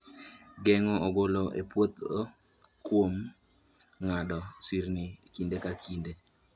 Geng'o ogolo e puodho kuom ng'ado sirni kinde ka kinde